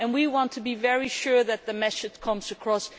We want to be very sure that this message comes across.